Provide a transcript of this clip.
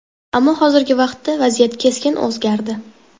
Ammo hozirgi vaqtda vaziyat keskin o‘zgardi.